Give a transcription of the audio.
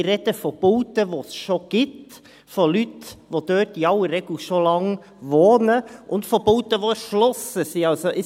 Wir sprechen von Bauten, die es bereits gibt, von Leuten, die dort in aller Regel bereits seit Langem wohnen, und von Bauten, die erschlossen sind.